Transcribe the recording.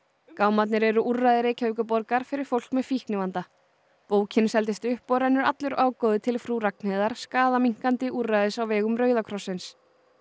gámarnir eru úrræði Reykjavíkurborgar fyrir fólk með fíknivanda bókin seldist upp og rennur allur ágóði til Frú Ragnheiðar skaðaminnkandi úrræðis á vegum Rauða krossins